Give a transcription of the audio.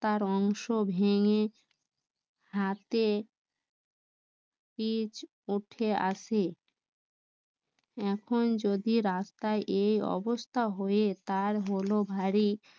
রাস্তার অংশ ভেঙে হাতে পিচ উঠে এসে এখন যদি রাস্তায় এই অবস্থা হয়ে তার হলো ভারী